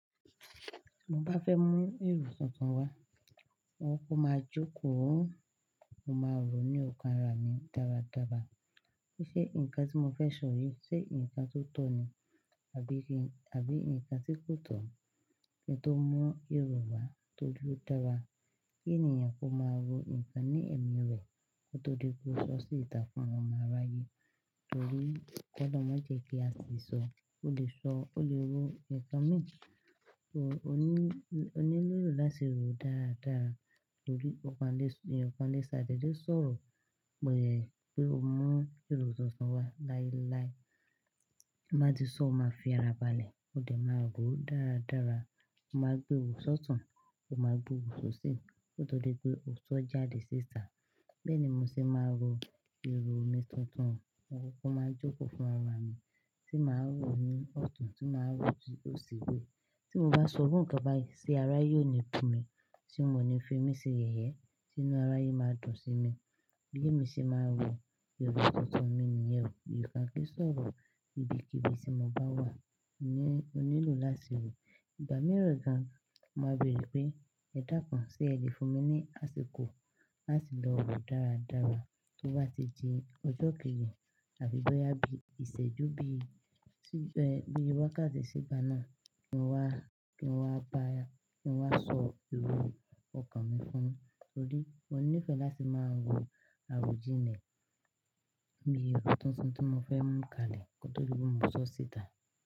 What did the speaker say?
Tí mo bá fẹ́ mú èrò tuntun wá, mo kọkọ máa jókòó, mo máa rò ó ní ọkàn ara mi dáradára. Pe ṣe nǹkan tí mo fẹ́ sọ yìí ṣe nǹkan tó tọ̀ ni àbí nǹkan tí kò tọ́? Ẹni tó mu èrò wá tọ́jú dára, kí ènìyàn kó máa ro nǹkan ní ẹ̀mí rẹ̀ kí ó tó di pe oó sọ sí ìtà fún àwọn ọmọ aráyé. Torí ki olorun ma jẹ́ kí a sè sọ, ó lè sọ, ó lè ro nǹkan méjì, ó nílò láti rò ó dáradára torí ènìyàn kan lè ṣàdèdè sọ̀rọ̀, mọ̀ yẹ pé ó mọ èrò tuntun wá láíláí, ti má ti sọ́ọ̀ máa fi ara balẹ̀. Ó dẹ̀ máa rò ó dáradára, ó máa gbé wò sọ́tun, ó máa gbé wò sọ́sì kí ó tó di pé òó sọ́ jáde sí ìtà. Bẹ́ẹ̀ ni mo ṣe máa ń ro èrò mi tuntun, mo kóko máa jókòó fún ara mi tí màá rò ó ní ọ̀tún, tí màá rò ó sì osi. Tí mo bá sọ iru nnkan báyii se araye óò ni bú mi tí mo ní fi mí ṣe yẹ̀yẹ́, tí inú arayé máa dùn sí mi. Bi emi ṣe máa ń ro èrò tuntun mi nìyẹn. Eeyan oo ko kí ń sọ̀rọ̀ ibikíbi tí mo bá wà, ó nílò láti rò. Ìgbà mìíràn gan, mo máa béèrè pé ẹ̀ dákàn se ẹ̀ lè fún mi ní àsìkò láti lọ rò dáradára. Tó bá ti di ọjọ́ kejì àbí bọ́yá bí ìṣẹ́jú bí wákàtí sí gbá náà kí n wá bá ẹ, kí n wá sọ èrò ọkàn mi fún ẹ torí mo ní ìfẹ́ láti máa ń ro àrojinle bí èrò tuntun tí mo fẹ́ mú kalẹ̀ kí ó tó di pe mó sọ sí ìtà.